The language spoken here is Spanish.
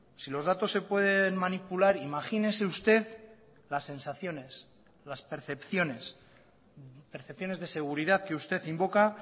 si los datos se pueden manipular imagínese usted las sensaciones las percepciones percepciones de seguridad que usted invoca